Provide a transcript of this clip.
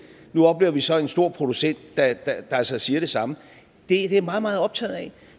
nu oplever vi så en stor producent der altså siger det samme det er jeg meget meget optaget af